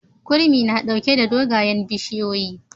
Kurmi na ɗauke da dogayen bishiyoyi.